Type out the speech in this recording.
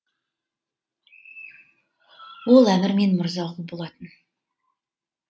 ол әмір мен мырзағұл болатын